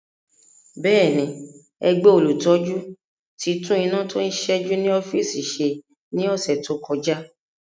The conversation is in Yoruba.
Bẹ́ẹ̀ni, ẹgbẹ́ olùtọ́jú ti tún iná tó ń ṣẹ́jú ní ọ́fíìsì ṣe ní ọ̀sẹ̀ tó kọjá